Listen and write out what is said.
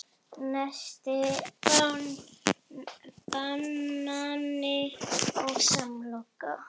Nesti: Banani og samloka